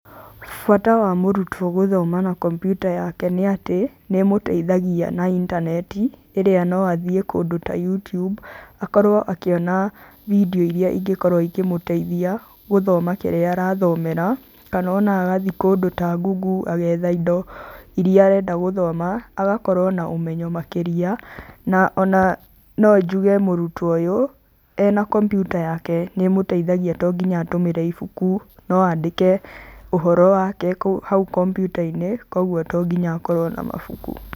Bata wa mũrutwo gũthoma na kombyuta yake nĩatĩ, nĩmũteithagia na intaneti, ĩrĩa no athiĩ kũndũ ta YouTube, akorwo akĩona vindeo iria ingĩkorwo ikĩmũteithia gũthoma kĩrĩa arathomera, kana ona agathiĩ kũndũ ta Google agetha indo iria arenda gũthoma, agakorwo na ũmenyo makĩria, na ona no njuge mũrutwo ũyu, ena kombyuta yake, nĩmũteithagia to nginya atũmĩre ibuku no andĩke ũhoro wake kũu hau kombyutainĩ, koguo tonginya akorwo na mabuku.